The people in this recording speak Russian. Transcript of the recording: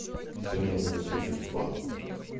сегодня буду слушать фанк